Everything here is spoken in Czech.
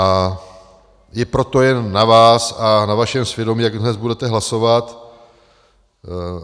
A je proto jen na vás a na vašem svědomí, jak dnes budete hlasovat.